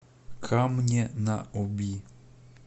камне на оби